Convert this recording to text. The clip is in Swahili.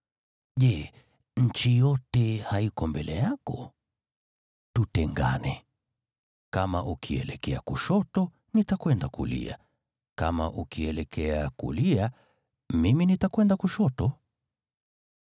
Je, nchi yote haiko mbele yako? Tutengane. Kama ukielekea kushoto, nitakwenda kulia; kama ukielekea kulia, mimi nitakwenda kushoto.”